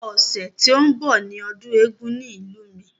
Ọ̀sẹ̀ tí ó ń bọ̀ ni ọdún eégún ní ìlú mi.